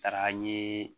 Taara n ye